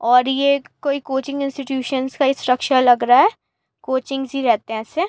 और ये क्-कोई कोचिंग इंस्टिट्यूसनस् का इंस्ट्रक्शा लग रहा है। कोचिंग्स् ही रहते है ऐसे।